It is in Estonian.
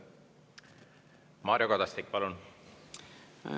Mario Kadastik, palun!